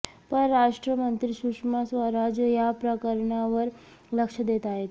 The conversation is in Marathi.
परराष्ट्र मंत्री सुषमा स्वराज या प्रकरणावर लक्ष देत आहेत